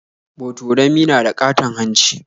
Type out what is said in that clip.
Botorami na da ƙaton hanci.